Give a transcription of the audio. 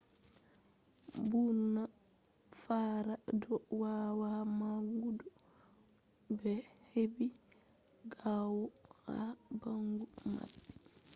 ɓurna fara ɗo wawa maɓɓugo bileji maɓɓe hedi ɓawo ha ɓandu maɓɓe